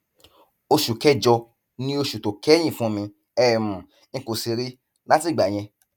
oṣù kẹjọ ni oṣù tó kẹyìn fún mi um n kò sì rí i látìgbà yẹn